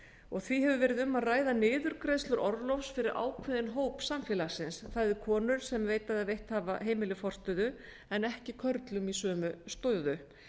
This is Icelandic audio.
og því hefur verið um að ræða niðurgreiðslur orlofs fyrir ákveðinn hóp samfélagsins það er konur sem veita eða veitt hafa heimili forstöðu en ekki körlum í sömu stöðu